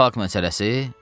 Katafalk məsələsi?